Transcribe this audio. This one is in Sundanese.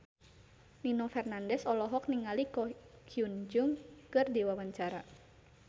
Nino Fernandez olohok ningali Ko Hyun Jung keur diwawancara